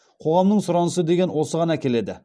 қоғамның сұранысы деген осыған әкеледі